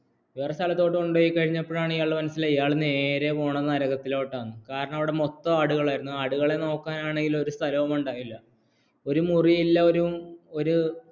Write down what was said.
അങ്ങനെ വേറെ സ്ഥലത്തേക്ക് കൊണ്ടുപോയപ്പോഴാണ് ഇയാള്‍ക്ക് മനസിലായത് നേര പോകുന്നത് നരകതില്ലോട്ട കാരണം അവിടെ മൊത്തം ആടുകലായിരുന്നു ആടുകളെ നോക്കാന്‍ ആണെങ്കില്‍ ഒരു സ്ഥലവുംഉണ്ടാകില ഒരു മുറി ഇല്ല ഒരു